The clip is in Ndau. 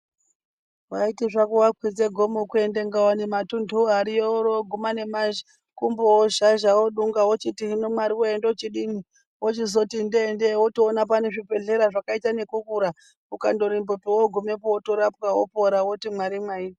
Waiti zvako wakwidze gomo kuenda Ngaone matuntuwo ariyo worowoguma nemakumbo ozhazha odunga wochiti hino Mwariwee ndochidini wochizoti ndee ndee wotoona pane zvibhedhleya zvakaita nekukura ukandorembapo wogumapo wondorapwa wopora woti Mwari mwaita.